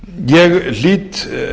ég hlýt